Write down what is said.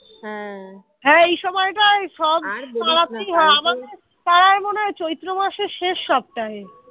পাড়ায় মনে হয় চৈত্র মাসের শেষ সপ্তাহে